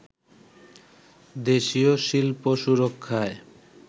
দেশীয় শিল্প সুরক্ষায়